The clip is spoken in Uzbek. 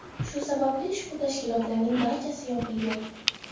Shu sababli ushbu tashkilotlarning barchasi yopilgan.